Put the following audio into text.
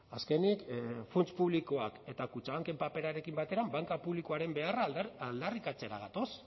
azkenik funts publikoak eta kutxabanken paperarekin batera banka publikoaren beharra aldarrikatzera gatoz